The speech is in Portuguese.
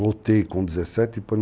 Voltei com 17